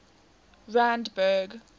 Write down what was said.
randburg